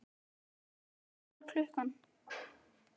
Valey, hvað er klukkan?